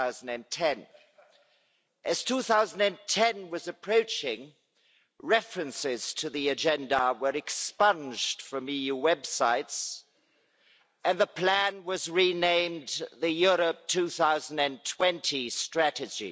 2010'. As 2010 was approaching references to the agenda were expunged from EU websites and the plan was renamed the Europe 2020 strategy.